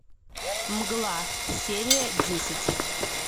мгла серия десять